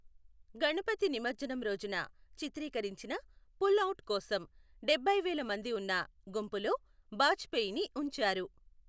గణపతి నిమజ్జనం రోజున చిత్రీకరించిన పుల్అవుట్ కోసం, డబ్బై వేల మంది ఉన్న గుంపులో బాజ్పేయిని ఉంచారు.